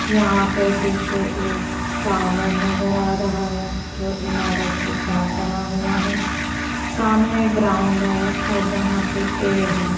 यहां पे पीछे एक टावर नजर आ रहा है जो इमारत के साथ बना हुआ है सामने ग्राउंड है और यहां पे पेड़ हैं।